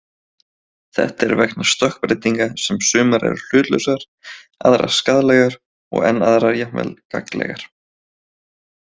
Þetta er vegna stökkbreytinga sem sumar eru hlutlausar, aðrar skaðlegar og enn aðrar jafnvel gagnlegar.